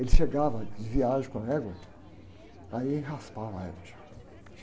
Ele chegava de viagem com a égua, aí raspava a égua.